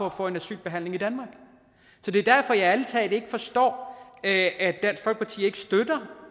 at få en asylbehandling i danmark så det er derfor at jeg ærlig talt ikke forstår at dansk folkeparti ikke støtter